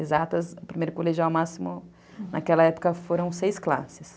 Exatas, primeiro colegial máximo, naquela época, foram seis classes.